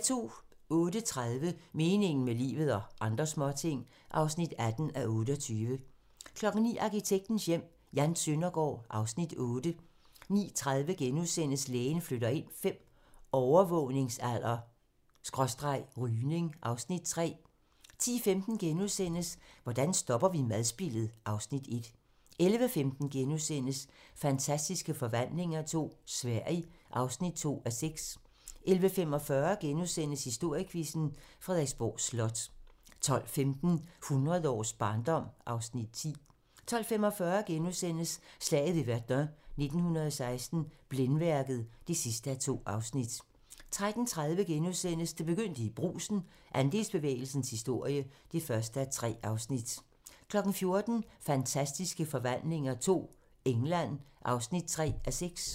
08:30: Meningen med livet - og andre småting (18:28) 09:00: Arkitektens Hjem: Jan Søndergaard (Afs. 8) 09:30: Lægen flytter ind V - overgangsalder/rygning (Afs. 3)* 10:15: Hvordan stopper vi madspildet? (Afs. 1)* 11:15: Fantastiske forvandlinger II - Sverige (2:6)* 11:45: Historiequizzen: Frederiksborg Slot * 12:15: Hundrede års barndom (Afs. 10) 12:45: Slaget ved Verdun 1916 - Blændværket (2:2)* 13:30: Det begyndte i Brugsen - Andelsbevægelsens historie (1:3)* 14:00: Fantastiske Forvandlinger II - England (3:6)